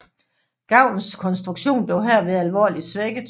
Gavlens konstruktion blev herved alvorligt svækket